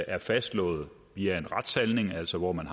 er fastslået via en retshandling altså hvor man